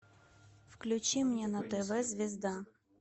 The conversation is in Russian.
включи мне на тв звезда